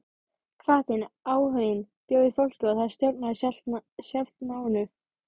Hvatinn, áhuginn bjó í fólkinu og það stjórnaði sjálft náminu.